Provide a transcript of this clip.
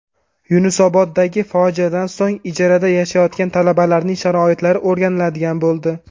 Yunusoboddagi fojiadan so‘ng ijarada yashayotgan talabalarning sharoitlari o‘rganiladigan bo‘ldi.